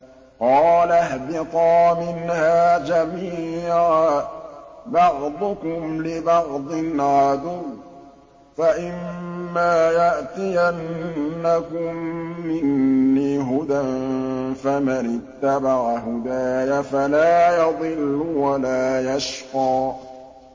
قَالَ اهْبِطَا مِنْهَا جَمِيعًا ۖ بَعْضُكُمْ لِبَعْضٍ عَدُوٌّ ۖ فَإِمَّا يَأْتِيَنَّكُم مِّنِّي هُدًى فَمَنِ اتَّبَعَ هُدَايَ فَلَا يَضِلُّ وَلَا يَشْقَىٰ